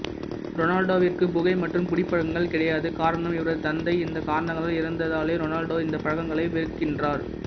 ரொனால்டோவிற்கு புகை மற்றும் குடிப்பழக்கங்கள் கிடையாது காரணம் இவரது தந்தை இந்த காரணங்களால் இறந்ததாலே ரொனால்டோ இந்த பழக்கங்களை வெறுக்கின்றார்